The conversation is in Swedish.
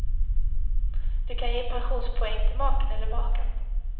Du kan ge pensionspoäng till maken eller makan.